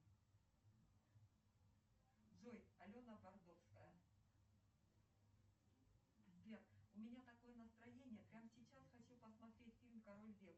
сбер у меня такое настроение прямо сейчас хочу посмотреть фильм король лев или как он там король симба найди мне этот фильм